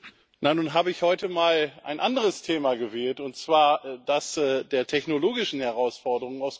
Na, nun habe ich heute mal ein anderes Thema gewählt, und zwar das der technologischen Herausforderungen.